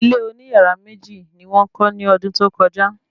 Ilé oní yàrá méjì ni wọ́n kọ́ ni ọdún tó kọjá